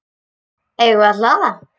Eigum við að hlaða?